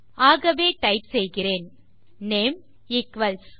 ஆகவே டைப் செய்கிறேன் name equals